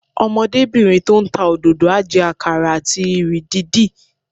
Ọmọdébìnrin tó ń ta òdòdó á jẹ àkàrà àti ìrì dídì